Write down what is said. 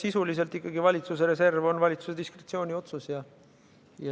Sisuliselt on valitsuse reservi kasutamine ikkagi valitsuse diskretsiooniotsus.